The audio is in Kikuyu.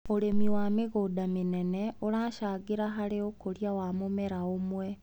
ũrĩmi wa mĩgũnda mĩnene ũracangĩra harĩ ũkũria wa mũmera ũmwe.